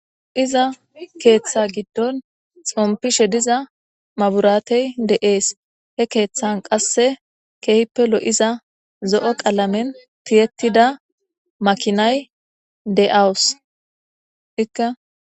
Iza keththa giidon xomppishe diiza mabiratey de'es he keththan qasse kehippe loiza zo'o qalamen tiyettida maakinay de'awusu.